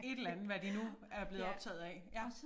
Et eller andet hvad de nu er blevet optaget af ja